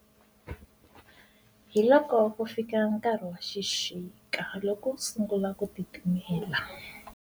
Hi loko ku fika nkarhi wa xixika loko ku sungula ku titimela.